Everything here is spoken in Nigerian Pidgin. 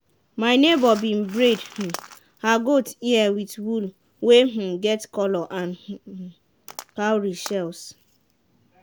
my neighbour been braid um her goat ear with wool wey um get colour and um cowrie shells.